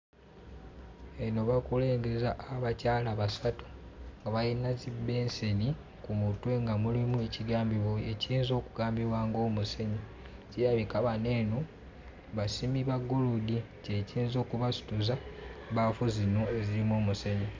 Eno bakulengeza abakyala basatu nga bayina zi bbenseni ku mutwe nga mulimu ekigambibwa ekiyinza okugambibwa ng'omusenyu. Kirabika bano eno basimi ba ggolodi kye kiyinza okubasituza bbaafu zino ezirimu omusenyu.